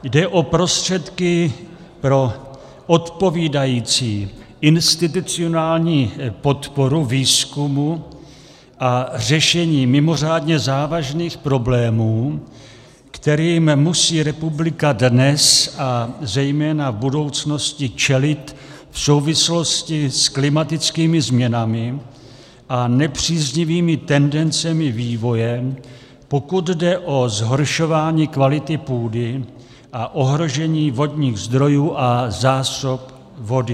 Jde o prostředky pro odpovídající institucionální podporu výzkumu a řešení mimořádně závažných problémů, kterým musí republika dnes a zejména v budoucnosti čelit v souvislosti s klimatickými změnami a nepříznivými tendencemi vývoje, pokud jde o zhoršování kvality půdy a ohrožení vodních zdrojů a zásob vody.